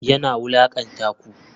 Yana wulakanta ku?